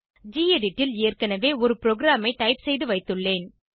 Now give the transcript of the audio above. gedit ல் ஏற்கனவே ஒரு ப்ரோகிராமை டைப் செய்து வைத்துள்ளேன்